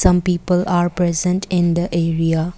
some people are present in the area.